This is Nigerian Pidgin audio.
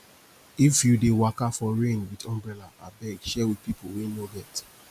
if you dey waka for rain wit umbrella abeg share wit pipu wey no get